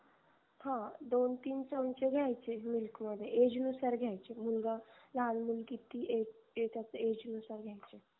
हो दोन तीन चमचे घ्यायचे milk मध्ये age नुसार घ्यायचे मुलगा लहान मुलगी ती य येचात age नुसार घ्यायचे